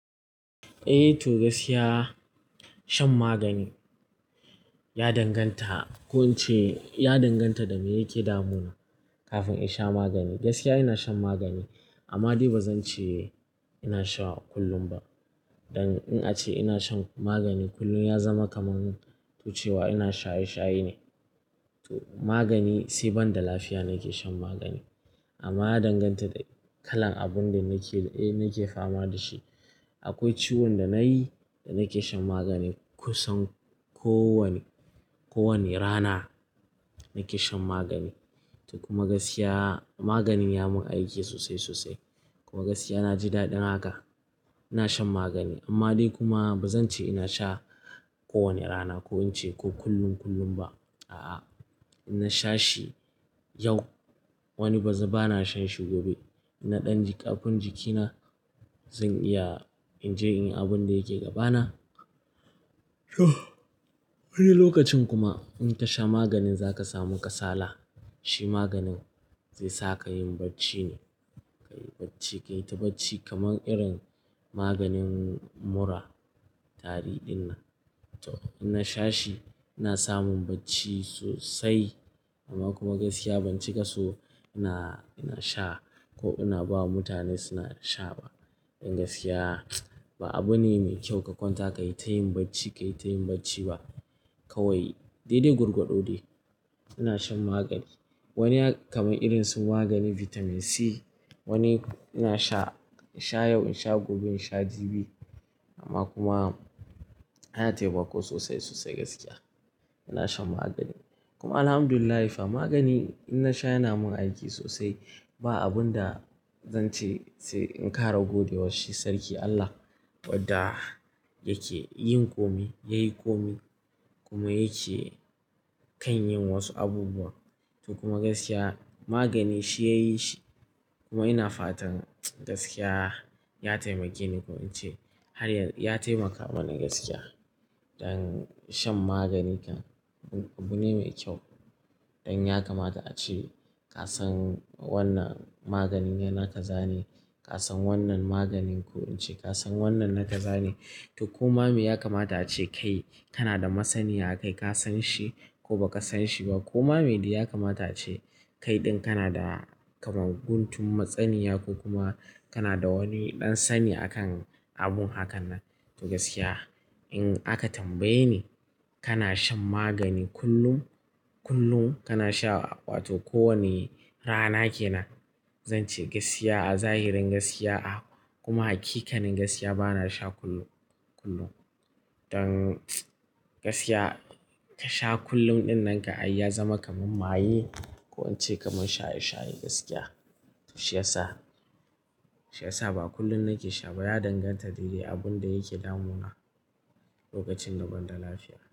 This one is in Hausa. Eh to gaskiya shan magani ya danganta, ko in ce ya danganta da me yake damuna kafin in sha magani. Gaskiya ina shan magani amma dai ba zan ce ina sha kullum ba. Dan in ace ina shan magani kullum ya zama kamar tuce wa ina shaye shaye ne. To magani sai banda lafiya nake shan magani amma ya danganta da kalan abun da nake, eh nake fama da shi. Akwai ciwon da nayi da nake shan magani kusan ko wane, ko wane rana nake shan magani. To kuma gaskiya maganin ya mun aiki sosai sosai kuma gaskiya na ji daɗin haka. Ina shan magani amma dai kuma ba zan ce ina sha ko wane rana ko in ce ko kullum kullum ba. A'a, ina sha shi yau wani baza ba na shan shi gobe. Na ɗan ƙarfin jikina, zan iya in je in yi abun da yake gabana. Wani lokacin kuma in tasha maganin zaka samu kasala, shi maganin zai saka yin bacci ne, kayi bacci, kayi ta bacci kamar irin maganin mura, tari ɗin nan. To ina sha shi, yana samun bacci sosai amma kuma gaskiya ban cika so ina, ina sha ko ina ba wa mutane suna sha ba. Don gaskiya ba abu ne mai kyau ka kwanta kayi tayin bacci, kayi tayin bacci ba. Kawai dai dai gurgwado ne, ina shan magani. Wani kamar irin su maganin vitamin C, wani ina sha, sha yau, ina sha gobe, ina sha jibi. Amma kuma ana taimako sosai sosai gaskiya, ina shan magani. Kuma Alhamdulillah magani ina sha yana mun aiki sosai. Ba abun da zan ce sai in ƙara gode wa shi sarki Allah wadda yake yin komai. Yayi komai kuma yake kan yin wasu abubuwa. To kuma gaskiya magani shi yayi shi kuma ina fatan gaskiya ya taimake ni ko in ce har ya taimaka mani gaskiya. Don shan magani abu ne mai kyau. Don ya kamata ace kasan wannan maganin yana kaza ne, kasan wannan maganin ko in ce kasan wannan na k za ne. To ko ma me ya kamata ace kai kana da masani akai kasan shi ko ba ka san shi ba. Kuma me ya kamata ace kai ɗin kana da kamar guntun matsaninya ko kuma kana da wani ɗan sani akan abun hakan nan. To gaskiya in aka tambaye ni kana shan magani kullum, kullum kana sha wato ko wane rana kenan. Zan ce gaskiya a zahirin gaskiya a kuma hakikanin gaskiya bana sha kullum, kullum. Don gaskiya ka sha kullum ɗin nan ka ai ya zama kamar maye ko in ce kamar shaye shaye gaskiya. Shi yasa, shi yasa ba kullum nake sha ba. Ya danganta da dai dai abun da yake damuna lokacin da banda lafiya.